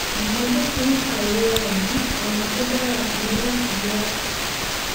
àmọ bó ti ń fa ìrora yìí ọnà tí ó dára jù ni láti yọ ọ